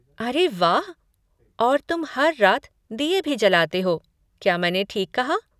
अरे वाह! और तुम हर रात दिए भी जलाते हो, क्या मैंने ठीक कहा?